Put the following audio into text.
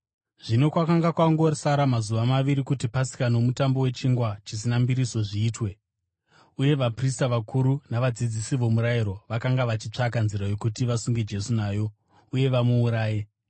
Zvino kwakanga kwangosara mazuva maviri kuti Pasika noMutambo weChingwa Chisina Mbiriso zviitwe, uye vaprista vakuru navadzidzisi vomurayiro vakanga vachitsvaka nzira yokuti vasunge Jesu nayo uye vamuuraye.